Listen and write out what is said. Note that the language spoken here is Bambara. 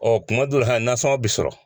kuma dɔw hɛn nasɔngɔn bɛ sɔrɔ.